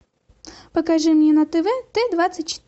покажи мне на тв т двадцать